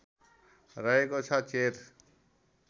रहेको छ चेर